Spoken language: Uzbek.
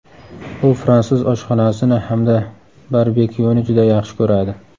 U fransuz oshxonasini hamda barbekyuni juda yaxshi ko‘radi.